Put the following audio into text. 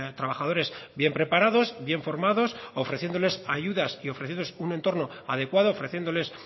trabajadores bien preparados bien formados ofreciéndoles ayudas y ofreciéndoles un entorno adecuado ofreciéndoles